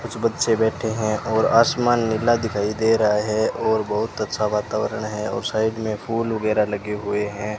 कुछ बच्चे बैठे हैं और आसमान नीला दिखाई दे रहा है और बहुत अच्छा वातावरण है और साइड में फूल वगैरा लगे हुए हैं।